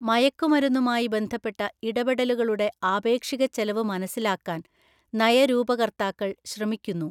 മയക്കുമരുന്നുമായി ബന്ധപ്പെട്ട ഇടപെടലുകളുടെ ആപേക്ഷിക ചെലവ് മനസ്സിലാക്കാൻ നയരൂപകർത്താക്കൾ ശ്രമിക്കുന്നു.